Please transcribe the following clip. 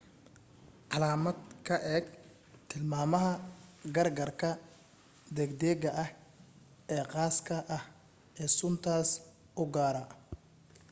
caalamad ka eeg tilmaamaha gaargaarka degdega ah ee khaaska ah ee suntaas u gaara